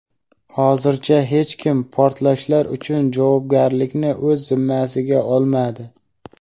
Hozircha hech kim portlashlar uchun javobgarlikni o‘z zimmasiga olmadi.